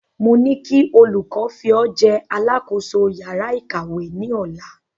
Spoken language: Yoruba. Mo ní kí olùkọ fi o jẹ alákòóso yàrá ìkàwé ni Ọ̀la